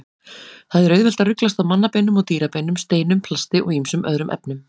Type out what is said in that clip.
Það er auðvelt að ruglast á mannabeinum og dýrabeinum, steinum, plasti og ýmsum öðrum efnum.